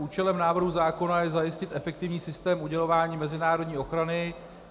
Účelem návrhu zákona je zajistit efektivní systém udělování mezinárodní ochrany.